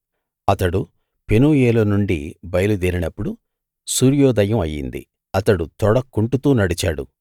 అతడు పెనూయేలు నుండి బయలుదేరి నప్పుడు సూర్యోదయం అయ్యింది అతడు తొడ కుంటుతూ నడిచాడు